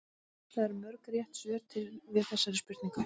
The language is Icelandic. Hvað eru mörg rétt svör til við þessari spurningu?